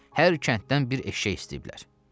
Hər kənddən bir eşşək istəyiblər.